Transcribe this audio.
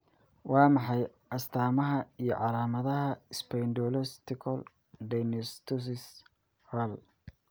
Waa maxay astamaha iyo calaamadaha Spondylocostal dysostosis haal?